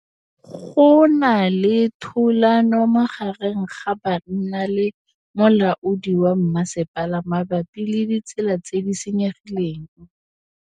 Go na le thulanô magareng ga banna le molaodi wa masepala mabapi le ditsela tse di senyegileng.